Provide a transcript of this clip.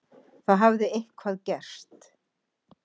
Það hafði eitthvað gerst.